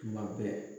Tuma bɛɛ